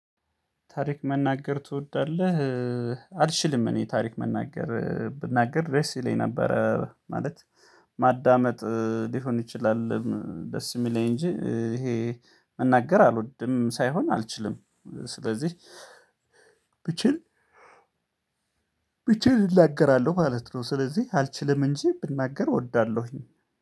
ታሪክ መናገር ትወዳለህ? አልችልም እኔ ታሪክ መናገር ብናገር ደስ ይለኝ ነበረ ማለት። ማዳመጥ ሊሆን ይችላል። ደስ የሚለኝ እንጂ ይሄ መናገር አልወድም ሳይሆን አልችልም ስለዚህ ብል ብል እናገራለሁ ማለት ነው። ስለዚህ አልችልም እንጂ ብናገር እወዳለሁኝ